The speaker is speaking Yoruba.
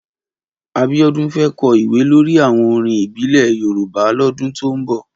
Abiodun fè kò ìwé lòrí áwòn órín ìbílè Yórùbá lòdún tó n bò